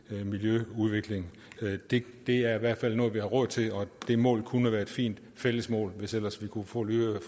til miljøudvikling det er i hvert fald noget vi har råd til og det mål kunne være et fint fælles mål hvis ellers vi kunne få lydhørhed